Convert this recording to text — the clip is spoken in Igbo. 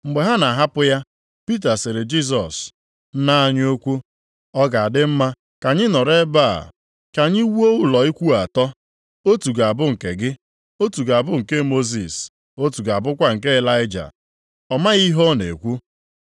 Mgbe ha na-ahapụ ya, Pita sịrị Jisọs, “Nna anyị ukwu, ọ ga-adị mma ka anyị nọrọ ebe a ka anyị wuo ụlọ ikwu atọ, otu ga-abụ nke gị, otu ga-abụ nke Mosis, otu ga-abụkwa nke Ịlaịja.” Ọ mataghị ihe ọ na-ekwu.